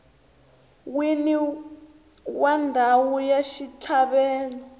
wini wa ndhawu ya xitlhavelo